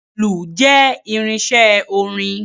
Ìlù jẹ́ irinṣẹ́ orin.